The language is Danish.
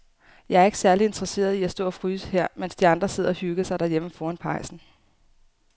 Jeg er ikke særlig interesseret i at stå og fryse her, mens de andre sidder og hygger sig derhjemme foran pejsen.